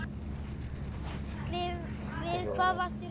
Gísli: Við hvað varstu hræddur?